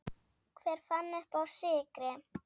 Hver fann uppá sykri?